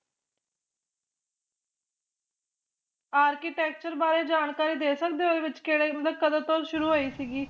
architecture ਬਾਰੇ ਜਾਣਕਾਰੀ ਦੇ ਸਕਦੇ ਹੋ ਇਹਦੇ ਵਿਚ ਕਿਹੜੇ ਮਤਲਬ ਕਦੋ ਤੋਂ ਸ਼ੁਰੂ ਹੋਈ ਸੀ ਗੀ